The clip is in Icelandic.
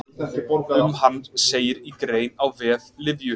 Um hann segir í grein á vef Lyfju.